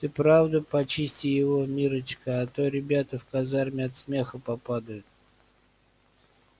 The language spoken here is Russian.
ты правда почисти его миррочка а то ребята в казарме от смеха попадают